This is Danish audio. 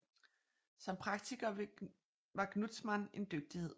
Som praktiker var Gnudtzmann en dygtighed